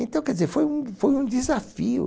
Então, quer dizer, foi um foi um desafio.